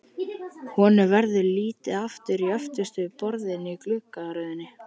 Honum verður litið aftur á öftustu borðin í gluggaröðinni.